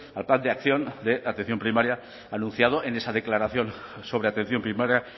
al plan de acción de atención primaria anunciado en esa declaración sobre atención primaria